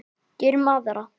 Gerum aðra.